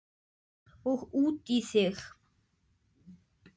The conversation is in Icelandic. Og út í þig.